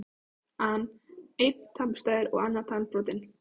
an: Einn tannburstaður og annar tannbrotinn.